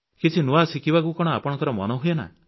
କିଛି ନୂଆ ଶିଖିବାକୁ କଣ ଆପଣଙ୍କ ମନ ହୁଏନା